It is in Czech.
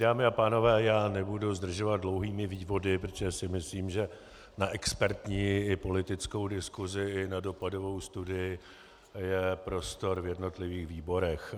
Dámy a pánové, já nebudu zdržovat dlouhými vývody, protože si myslím, že na expertní i politickou diskusi i na dopadovou studii je prostor v jednotlivých výborech.